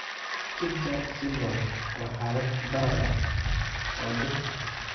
Schnitzler syndrome waa xaalad barar ah oo dhif ah.